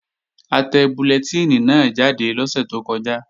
A tẹ bullẹtínì náà jáde lọ́sẹ̀ tó kọjá